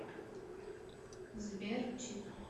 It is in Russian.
сбер ч и п